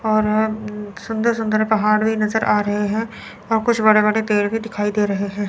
और सुंदर सुंदर पहाड़ भी नजर आ रहे हैं और कुछ बड़े बड़े पेड़ भी दिखाई दे रहे हैं।